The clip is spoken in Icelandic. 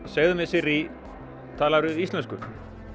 segðu mér Sirrý talarðu íslensku nei